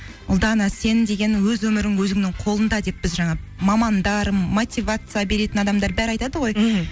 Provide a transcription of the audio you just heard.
ұлдана сенің деген өз өмірің өзіңнің қолыңда деп біз жаңа мамандар мотивация беретін адамдар бәрі айтады ғой мхм